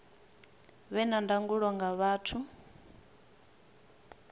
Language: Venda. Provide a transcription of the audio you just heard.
vhe na ndangulo nga vhathu